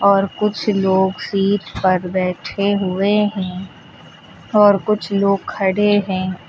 और कुछ लोग सीट पर बैठे हुए हैं और कुछ लोग खड़े हैं।